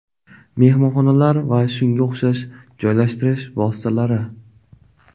Mehmonxonalar va shunga o‘xshash joylashtirish vositalari.